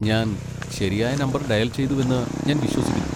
ഞാൻ ശരിയായ number dial ചെയ്തുവെന്ന് ഞാൻ വിശ്വസിക്കുന്നു.